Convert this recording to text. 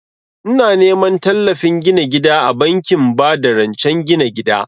Ina neman tallafin gina gida a bankin ba da rancen gina gida